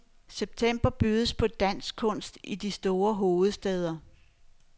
September bydes på dansk kunst i de to store hovedstæder.